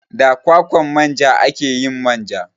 Da kwakwan manja ake yin manja.